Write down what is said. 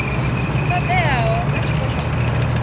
todeaho kha tshiko tsha mafhungo